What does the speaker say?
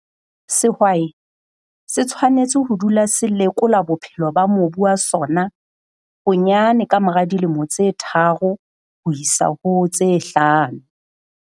Sehwai se tshwanetse ho dula se lekola bophelo ba mobu wa sona bonyane kamora dilemo tse tharo ho isa ho tse hlano.